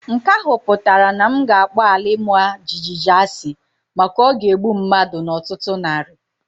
Nke ahụ pụtara na m ga-akpọ ala ima jijiji asị maka o ga-egbu mmadu n'ọtụtụ narị.